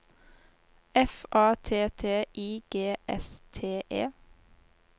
F A T T I G S T E